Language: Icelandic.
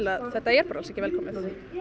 að þetta er alls ekki velkomið